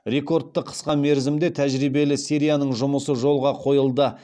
рекордты қысқа мерзімде тәжірибелі серияның жұмысы жолға қойылды